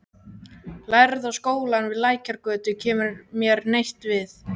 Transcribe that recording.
Lærða skólann við Lækjargötu kæmi mér neitt við.